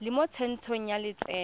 le mo tsentsho ya lotseno